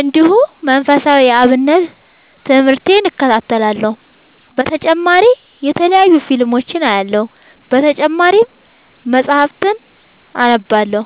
እንዲሁ መንፈሳዊ የአብነት ትምህርቴን እከታተላለሁ። በተጨማሪ የተለያዩ ፊልሞችን አያለሁ። በተጨማሪም መፀሀፍትን አነባለሁ።